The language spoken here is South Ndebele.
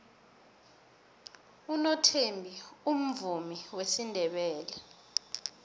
unothembi umvumi wesindebele